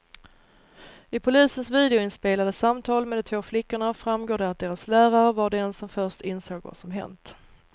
I polisens videoinspelade samtal med de två flickorna framgår det att deras lärare var den som först insåg vad som hänt.